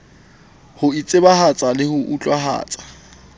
ho itsebahatsa le ho utlwahatsa